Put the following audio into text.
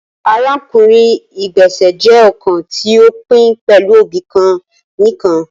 Arakunrin igbesẹ jẹ ọkan ti o pin pẹlu obi kan nikan